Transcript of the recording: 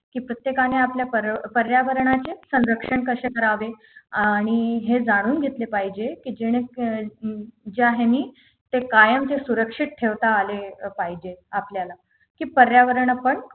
की प्रत्येकाने आपले पर्या पर्यावरणाचे संरक्षण कशे करावे आणि हे जाणून घेतले पाहिजे की जेणे अं हम्म ज्या है नी ते कायमचे सुरक्षित ठेवता आले पाहिजे आपल्याला की पर्यावरण आपण